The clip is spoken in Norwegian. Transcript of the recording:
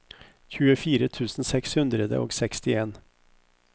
tjuefire tusen seks hundre og sekstien